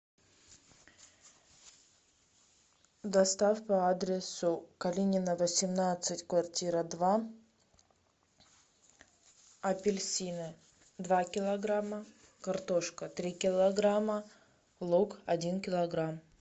доставка по адресу калинина восемнадцать квартира два апельсины два килограмма картошка три килограмма лук один килограмм